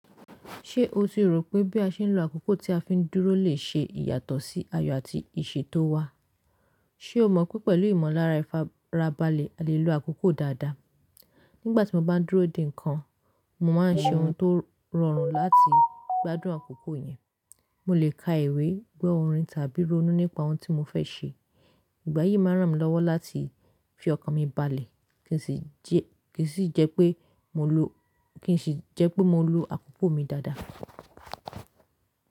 Ṣé o ti rò pé bí a ṣe ń lo àkókò tí a fi ń dúró lè ṣe ìyàtọ̀ sí ayọ̀ àti ìṣe tó wá? Ṣé o mọ̀ pé pẹ̀lú ìmọ̀lára ìfarabalẹ̀ a lè lo àkókò dáadáa. Nígbà tí mo bá ń dúró dè nǹkan, mo máa ń ṣe ohun tó rọrùn láti gbádùn àkókò yẹn. Mo lè ka ìwé, gbọ́ orin tàbí ronú nípa ohun tí mo fẹ́ ṣe. Ìgbà yìí máa ràn mí lọ́wọ́ láti fi ọkàn mi balẹ̀ kí sì jẹ́ pé mo lo àkókò mi dáadáa.